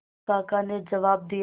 काका ने जवाब दिया